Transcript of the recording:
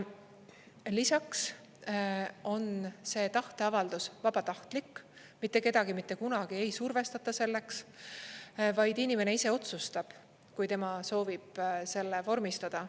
Lisaks on see tahteavaldus vabatahtlik: mitte kedagi mitte kunagi ei survestata selleks, vaid inimene ise otsustab, kui tema soovib selle vormistada.